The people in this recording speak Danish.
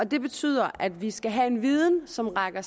det betyder at vi skal have en viden som rækker